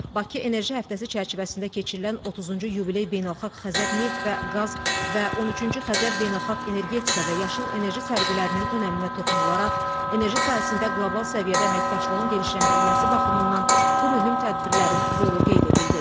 Bakı enerji həftəsi çərçivəsində keçirilən 30-cu yubiley beynəlxalq Xəzər neft və qaz və 13-cü Xəzər beynəlxalq energetika və yaşıl enerji sərgilərinin önəminə toxunularaq, enerji sahəsində qlobal səviyyədə əməkdaşlığın genişləndirilməsi baxımından bu mühüm tədbirlərin rolu qeyd edildi.